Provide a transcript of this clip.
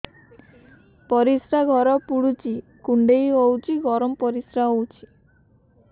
ପରିସ୍ରା ଘର ପୁଡୁଚି କୁଣ୍ଡେଇ ହଉଚି ଗରମ ପରିସ୍ରା ହଉଚି